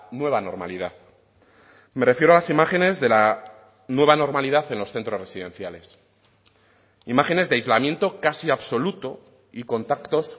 nueva normalidad me refiero a las imágenes de la nueva normalidad en los centros residenciales imágenes de aislamiento casi absoluto y contactos